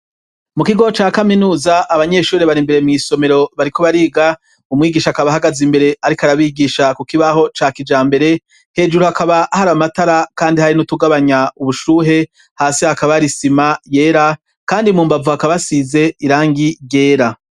Mu kigo ca kaminuza abanyeshuri bar'imbere mw' isomero bariko bariga ,umwigisha akab' ahagaze imbere arik' arabigisha ku kibaho ca kijambere, hejuru hakaba har'amatara kandi har'utugabanya ubushuhe, hasi hakaba har'isima yera, kandi mumbavu hakaba hasize irangi ryera.